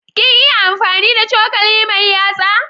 Kin iya amfani da cokali mai yatsa?